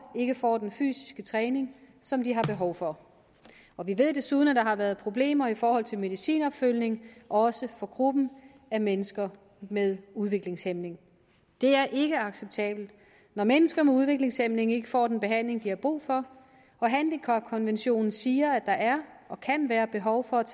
ikke får den fysiske træning som de har behov for og vi ved desuden at der har været problemer i forhold til medicinopfølgning også for gruppen af mennesker med udviklingshæmning det er ikke acceptabelt når mennesker med udviklingshæmning ikke får den behandling de har brug for og handicapkonventionen siger at der er og kan være behov for at